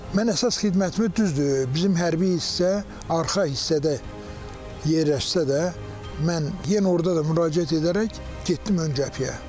Mən əsas xidmətimə düzdür, bizim hərbi hissə arxa hissədə yerləşsə də, mən yenə orada da müraciət edərək getdim ön cəbhəyə.